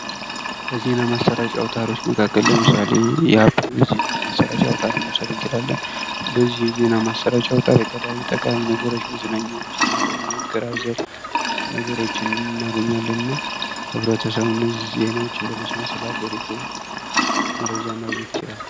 ከዜና ማሰራጫ አውታሮች መካከል ለምሳሌ የአባይ ዜና ማሰራጫ አውታርን መውሰድ እንችላለን። በዚህ የዜና ማሰራጫ አውታር የተለያዩ ጠቃሚ ነገሮች መዝናኛዎች እና ቁም ነገር አዘል ነገሮችን እናገኛለን። እና ህብረተሰቡ እነዚህ ዜናዎችን በመስማት ስለ ሀገሪቱ መረጃ ማግኘት ይችላል።